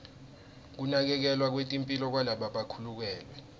kunakekelwa kwetemphilo kwalabakhulelwe